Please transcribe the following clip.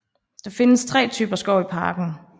Der findes tre typer skov i parken